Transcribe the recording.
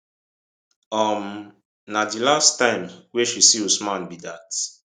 um na di last time wey she see usman be dat